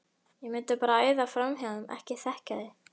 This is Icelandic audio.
ég mundi bara æða framhjá þeim. ekki þekkja þau!